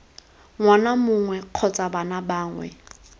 ngwana mongwe kgotsa bana bangwe